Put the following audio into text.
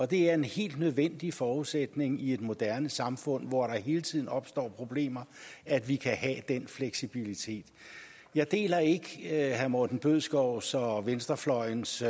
det er en helt nødvendig forudsætning i et moderne samfund hvor der hele tiden opstår problemer at vi kan have den fleksibilitet jeg deler ikke herre morten bødskovs og venstrefløjens